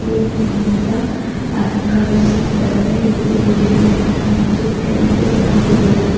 ಹೂವಿನಿಂದ ಅಲಂಕರಿಸಿದ್ದಾರೆ ಇಲ್ಲಿ ಬಿಳಿ ಬಣ್ಣ ಮತ್ತು ಕೆಂಪು ಬಣ್ಣ ಹೂವುಗಳಿವೆ.